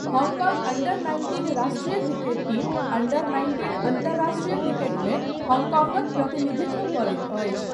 Hong Kong under nineteen राष्ट्रिय cricket team under nineteen अन्तर्राष्ट्रिय क्रिकेटमे हङकङक प्रतिनिधित्व करैत अछि।